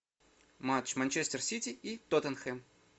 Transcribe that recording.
матч манчестер сити и тоттенхэм